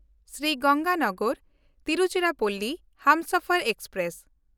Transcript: Shri ᱜᱚᱝᱜᱟᱱᱚᱜᱚᱨ–ᱛᱤᱨᱩᱪᱤᱨᱟᱯᱯᱚᱞᱞᱤ Humsafar express